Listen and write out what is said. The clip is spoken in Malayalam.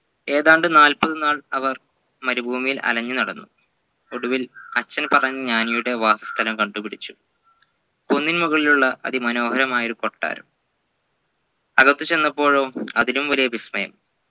ഏതാണ്ടു നാൽപതു നാൾ അവർ മരുഭൂമിയിൽ അലഞ്ഞു നടന്നു ഒടുവിൽ അച്ഛൻ പറഞ്ഞ ജ്ഞാനിയുടെ വാസസ്ഥലം കണ്ടു പിടിച്ചു കുന്നിൻ മുകളിലുള്ള അതിമനോഹരമായ കൊട്ടാരം അകത്തു ചെന്നപോഴോ അതിലും വലിയ വിസ്മയം